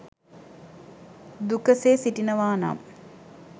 දුකසේ සිටිනවා නම්